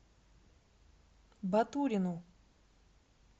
батурину